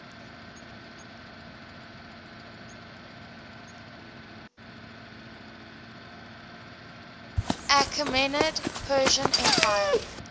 achaemenid persian empire